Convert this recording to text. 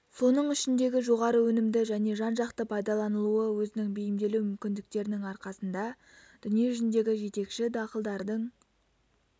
соның ішіндегі жоғары өнімді және жан-жақты пайдаланылуы өзінің бейімделу мүмкіндіктерінің арқасында дүние жүзіндегі жетекші дақылдардың